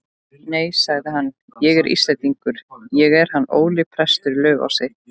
Nei, sagði hann,-ég er Íslendingur, ég er hann Óli prestur í Laufási.